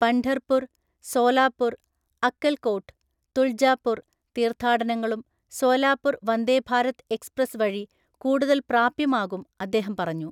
പണ്ഢർപുർ, സോലാപുർ, അക്കൽകോട്ട്, തുൾജാപുർ തീർഥാടനങ്ങളും സോലാപുർ വന്ദേ ഭാരത് എക്സ്പ്രസ് വഴി കൂടുതൽ പ്രാപ്യമാകും അദ്ദേഹം പറഞ്ഞു.